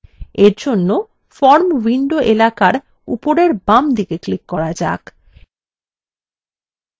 এর জন্য form window এলাকার উপরের বামদিকে click করা যাক